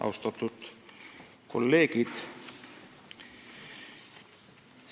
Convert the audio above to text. Austatud kolleegid!